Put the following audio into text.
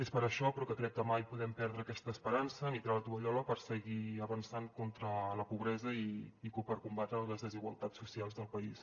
és per això però que crec que mai podem perdre aquesta esperança ni tirar la tovallola per seguir avançant contra la pobresa i per combatre les desigualtats socials del país